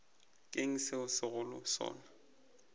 ke eng se segolo sona